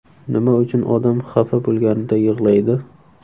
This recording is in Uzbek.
Nima uchun odam xafa bo‘lganida yig‘laydi?.